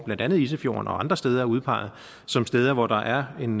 blandt andet isefjorden og andre steder er udpeget som steder hvor der er en